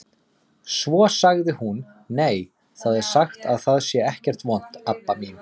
Svo sagði hún: Nei, það er sagt að það sé ekkert vont, Abba mín.